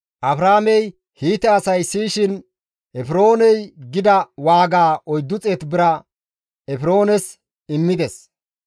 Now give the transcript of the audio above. Abrahaamey Hiite asay siyishin Efrooney gida waaga 400 saqile bira Efroones immides.